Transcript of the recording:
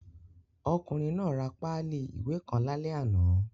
Ọkùnrin náà ra páálì ìwé kan lálẹ́ àná.